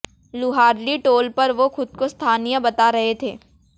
Luharli toll पर वो खुद को स्थानीय बता रहे थे